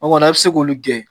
O kɔni a bi se k'olu gɛn.